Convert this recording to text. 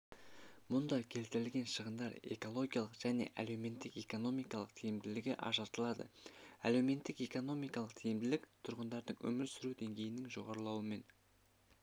мұнда келтірілген шығындар экологиялық және әлеуметтік-экономикалық тиімділігі ажыратылады әлеуметтік-экономикалық тиімділік тұрғындардың өмір сүру деңгейінің жоғарылауымен